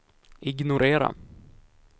ignorera